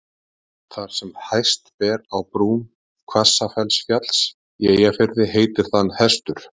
þar sem hæst ber á brún hvassafellsfjalls í eyjafirði heitir það hestur